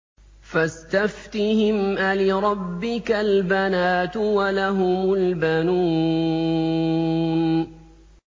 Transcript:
فَاسْتَفْتِهِمْ أَلِرَبِّكَ الْبَنَاتُ وَلَهُمُ الْبَنُونَ